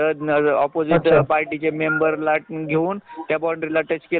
पुढं घरकाम किव्हा मग आपले एखादे स्वप्न असत